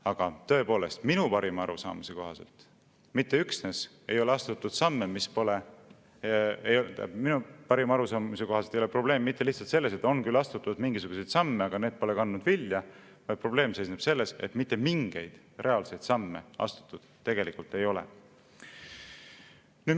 Aga tõepoolest, minu parima arusaamise kohaselt ei ole probleem mitte lihtsalt selles, et on küll astutud mingisuguseid samme, aga need pole kandnud vilja, vaid probleem seisneb selles, et mitte mingeid reaalseid samme tegelikult astutud ei ole.